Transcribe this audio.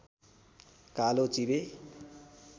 कालो चिबे